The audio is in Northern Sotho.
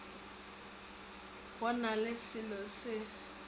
go na le selo sa